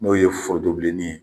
N'o ye foronto bileni ye.